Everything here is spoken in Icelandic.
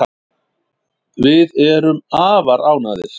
Við erum afar ánægðir